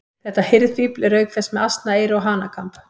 Þetta hirðfífl er auk þess með asnaeyru og hanakamb.